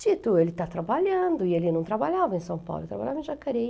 Tito, ele está trabalhando e ele não trabalhava em São Paulo, ele trabalhava em Jacareí.